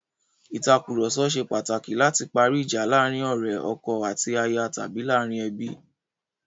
Ìtàkurọ̀sọ ṣe pàtàkì láti parí ìjà láàrin ọ̀rẹ́, ọkọ àti aya tàbí láàrin ẹbí.